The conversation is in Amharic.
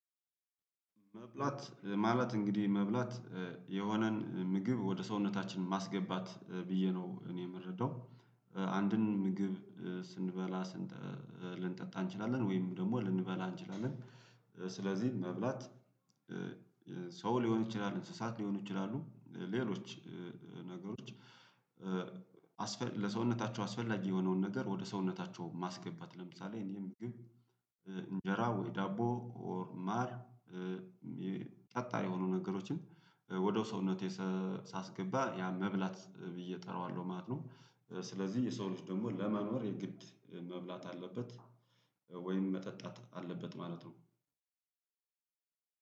መብላት ማለት እንግዲህ መብላት የሆነን ምግብ ወደ ሰውነታችን ማስገባት ብዬ ነው እኔ የምረዳው አንድን ምግብ ስንበላ። ልንጠጣ እንችላለን ወይም ደግሞ ልንበላ እንችላለን ስለዚህ መብላት ሰው ሊሆን ይችላል እንስሳት ሊሆን ይችላሉ ሌሎች ነገሮች። ለሰውነታቸው አስፈላጊ የሆነውን ነገር ወደ ሰውነታቸው ማስገባት ለምሳሌ እኔ ምግብ እንጀራ ወይ ዳቦ ኦር ማር ጠጣር የሆኑ ነገሮችን ወደ ሰውነቴ ሳስገባ ያ መብላት ብዬ እጠራዋለሁ ማለት ነው። ስለዚህ የሰው ልጅ ደግሞ ለመኖር የግድ መብላት አለበት ወይም መጠጣት አለበት ማለት ነው።